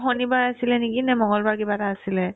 শনিবাৰ আছিলে নেকি নে মংগলবাৰ কিবা এটা আছিলে